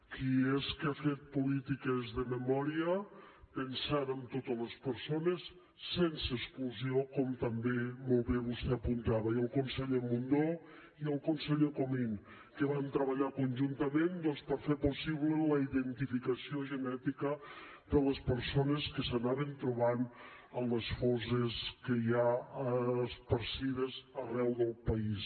qui és que ha fet polítiques de memòria pensant en totes les persones sense exclusió com també molt bé vostè apuntava i el conseller mundó i el conseller comín que van treballar conjuntament doncs per fer possible la identificació genètica de les persones que s’anaven trobant en les fosses que hi ha escampades arreu del país